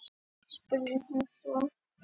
spurði hún svo.